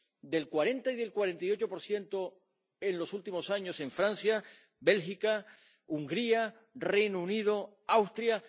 —del 40 y del 48 en los últimos años en Francia, Bélgica, Hungría, Reino Unido, Austria—.